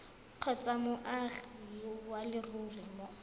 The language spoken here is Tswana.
kgotsa moagi wa leruri mo